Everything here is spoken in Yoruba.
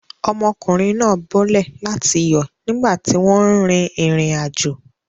Ọmọkùnrin náà bọ́lẹ̀ láti yọ̀ nígbà tí wọ́n ń rin ìrìnàjò.